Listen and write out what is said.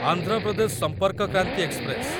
Andhra Pradesh Sampark Kranti express